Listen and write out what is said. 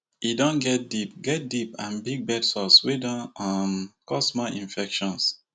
e don get deep get deep and big bedsores wey don um cause more infections